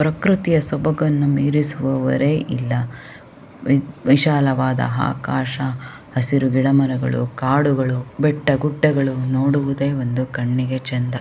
ಪ್ರಕೃತಿಯ ಸೊಭಗನ್ನು ಮೀರಿಸುವವರೇ ಇಲ್ಲಾ ವಿ ವಿಶಾಲವಾದ ಆಕಾಶ ಹಸಿರು ಗಿಡಮರಗಳು ಕಾಡುಗಳು ಬೆಟ್ಟಗುಡ್ಡಗಳು ನೋಡುವುದೆ ಒಂದು ಕಣ್ಣಿಗೆ ಚೆಂದ.